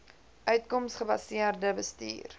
uitkoms gebaseerde bestuur